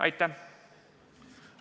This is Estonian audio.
Aitäh!